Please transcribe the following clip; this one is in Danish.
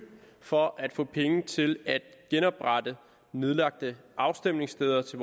for at få penge til at genoprette nedlagte afstemningssteder til